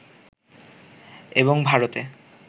এবং ভারতে